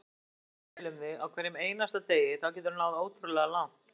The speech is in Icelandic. Ef þú hugsar vel um þig á hverjum einasta degi þá geturðu náð ótrúlega langt.